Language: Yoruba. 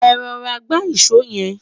é rọra gba ìsọ yen